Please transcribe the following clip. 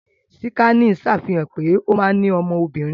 Síkànì ṣàfihàn pé ó ma ní ọmọ obìnrin